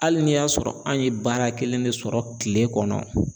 Hali n'i y'a sɔrɔ an ye baara kelen de sɔrɔ kile kɔnɔ